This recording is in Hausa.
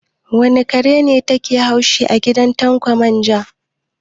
Wane kare ne ke haushi a gidan Tanko manja?